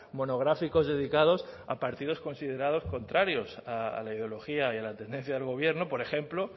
monográficos dedicados a partidos considerados contrarios a la ideología y a la tendencia del gobierno por ejemplo